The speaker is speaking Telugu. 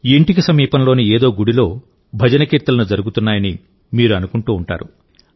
ఇంటికి సమీపంలోని ఏదో గుడిలో భజన కీర్తనలు జరుగుతున్నాయని మీరు అనుకుంటూ ఉంటారు